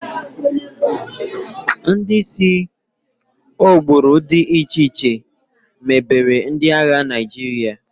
Ndị si agbụrụ dị iche iche mebere ndị agha Naịjirịa.